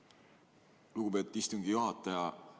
Aitäh, lugupeetud istungi juhataja!